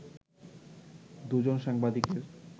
দুজন সাংবাদিকের